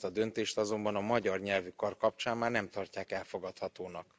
Ugyanezt a döntést azonban a magyar nyelvű kar kapcsán már nem tartják elfogadhatónak.